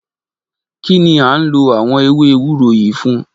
Kí ni a ń lò àwọn ewé ewúro yìí fún?